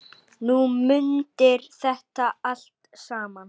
Þú mundir þetta allt saman.